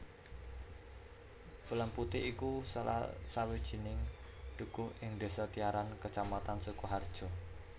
Pelemputih iku salah sawijining dukuh ing desa Tiyaran kecamatan Sukoharjo